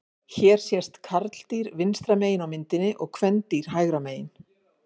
Hér sést karldýr vinstra megin á myndinni og kvendýr hægra megin.